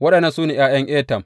Waɗannan su ne ’ya’yan Etam.